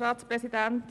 Wort.